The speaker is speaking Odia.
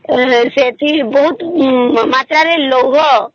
ସେଠି ବହୁତ ମାତ୍ର ରେ ଲଗାଅ